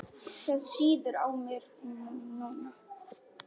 Það sýður á mér núna.